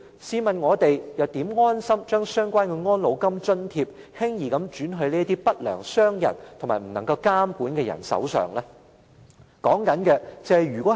試問我們又怎能安心把相關的安老金津貼，輕易轉到不良商人及無法監管的人手上呢？